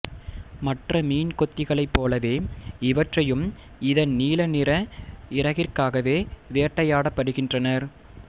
மற்ற மீன்கொத்திகளைப்போலவே இவற்றையும் இதன் நீல நிற இறகிற்காவே வேட்டையாடப்படுகின்றனர்